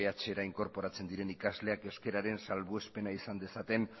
dbhra inkorporatzen diren ikasleak euskararen salbuespena izan dezaten